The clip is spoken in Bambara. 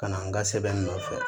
Ka na n ka sɛbɛn nɔfɛ